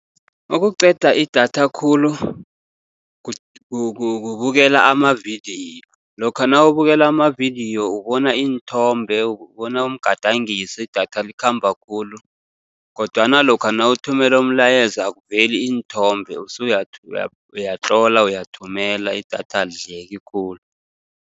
Okuqeda idatha khulu kubukela amavidiyo. Lokha nawubukela amavidiyo ubona iinthombe, ubona umgadangiso idatha likhamba khulu, kodwana lokha nawuthumela umlayezo akuveli iinthombe usuyatlola, uyathumela, idatha alidleki khulu.